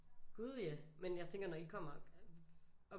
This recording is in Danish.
Gud ja men jeg tænker når I kommer